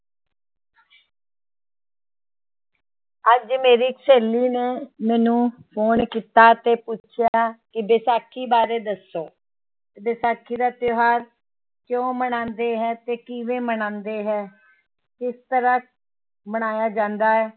ਅੱਜ ਮੇਰੀ ਸਹੇਲੀ ਨੇ ਮੈਨੂੰ phone ਕੀਤਾ ਤੇ ਪੁੱਛਿਆ ਕਿ ਵਿਸਾਖੀ ਬਾਰੇ ਦੱਸੋ ਵਿਸਾਖੀ ਦਾ ਤਿਉਹਾਰ ਕਿਉਂ ਮਨਾਉਂਦੇ ਹੈ ਤੇ ਕਿਵੇਂ ਮਨਾਉਂਦੇ ਹੈ, ਕਿਸ ਤਰ੍ਹਾਂ ਮਨਾਇਆ ਜਾਂਦਾ ਹੈ।